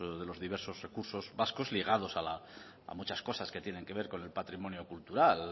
de los diversos recursos vascos ligados a muchas cosas que tienen que ver con el patrimonio cultural